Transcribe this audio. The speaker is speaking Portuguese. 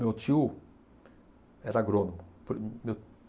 Meu tio era agrônomo pri meu.